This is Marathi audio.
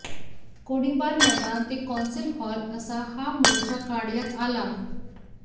गोळीबार मैदान ते कौन्सिल हाॅल असा हा मोर्चा काढण्यात आला